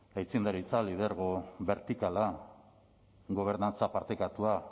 aitzindaritza lidergo bertikala gobernantza partekatua